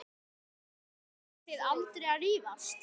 Farið þið aldrei að rífast?